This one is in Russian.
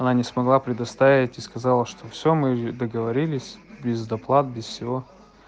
она не смогла предоставить и сказала что всё мы договорились без доплат без всего